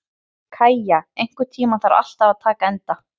Kæja, einhvern tímann þarf allt að taka enda.